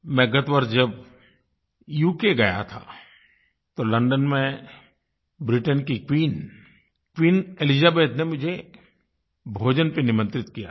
मैं गत वर्ष जब उक गया था तो लोंडों में ब्रिटेन की क्वीन क्वीन एलिजाबेथ ने मुझे भोजन पर निमंत्रित किया था